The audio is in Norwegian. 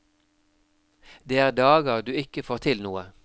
Det er dager du ikke får til noe.